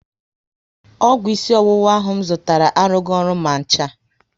Ọgwụ isi ọwụwa ahụ m zụtara arughi ọrụ ma ncha